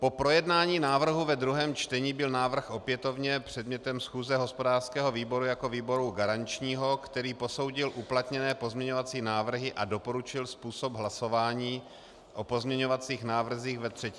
Po projednání návrhu ve 2. čtení byl návrh opětovně předmětem schůze hospodářského výboru jako výboru garančního, který posoudil uplatněné pozměňovací návrhy a doporučil způsob hlasování o pozměňovacích návrzích ve 3. čtení.